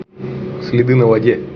следы на воде